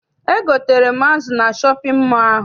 Egotere m azụ na shọpịn mọọ ahụ.